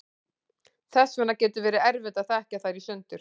þess vegna getur verið erfitt að þekkja þær í sundur